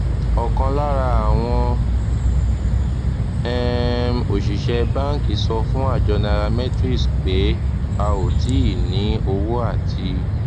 òkan lára àwọn um òṣìṣẹ banki sọ fún àjọ nairametrics pé a ò tíì ní owó àti